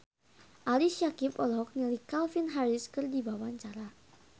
Ali Syakieb olohok ningali Calvin Harris keur diwawancara